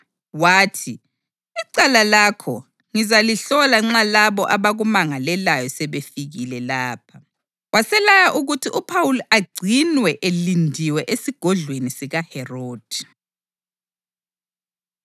Wathi, “Icala lakho ngizalihlola nxa labo abakumangalelayo sebefikile lapha.” Waselaya ukuthi uPhawuli agcinwe elindiwe esigodlweni sikaHerodi.